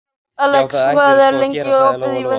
Alex, hvað er lengi opið í Vesturbæjarís?